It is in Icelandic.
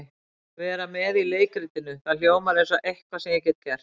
Vera með í leikritinu, það hljómar eins og eitthvað sem ég get gert.